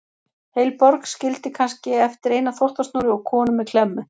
Heil borg skildi kannski eftir eina þvottasnúru og konu með klemmu.